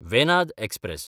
Venad express